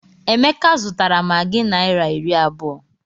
Emeka zụtara maggi naira iri abụọ.